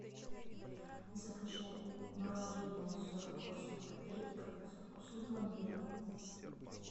закажи мороженое сорок восемь копеек со вкусом пломбира